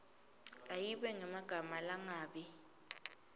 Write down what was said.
ayibe nemagama langabi